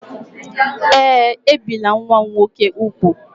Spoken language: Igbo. Ee, ebìla nwa m nwoke úgwù.